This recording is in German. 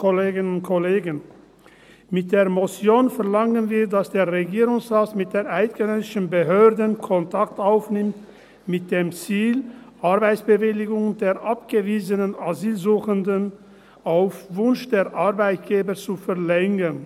Mit der Motion verlangen wir, dass der Regierungsrat mit den eidgenössischen Behörden Kontakt aufnimmt, mit dem Ziel, Arbeitsbewilligungen der abgewiesenen Asylsuchenden auf Wunsch der Arbeitgeber zu verlängern.